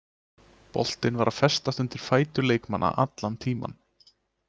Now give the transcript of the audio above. Boltinn var að festast undir fætur leikmanna allan tímann.